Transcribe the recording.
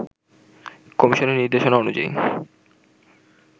কমিশনের নিদের্শনা অনুযায়ী